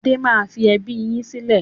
Adé máa fi ẹbí yìí sílẹ̀